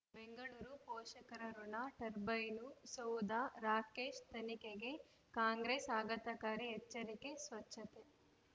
ಬೆಂಗಳೂರು ಪೋಷಕರಋಣ ಟರ್ಬೈನು ಸೌಧ ರಾಕೇಶ್ ತನಿಖೆಗೆ ಕಾಂಗ್ರೆಸ್ ಆಘಾತಕಾರಿ ಎಚ್ಚರಿಕೆ ಸ್ವಚ್ಛತೆ